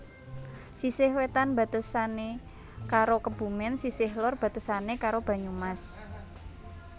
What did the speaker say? Sisih wetan batesane karo Kebumen sisih lor batesane karo Banyumas